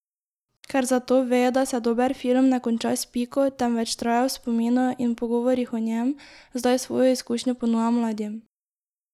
Ker zato ve, da se dober film ne konča s piko, temveč traja v spominu in pogovorih o njem, zdaj svojo izkušnjo ponuja mladim.